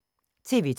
TV 2